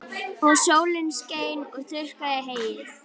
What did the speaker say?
Og sólin skein og þurrkaði heyið.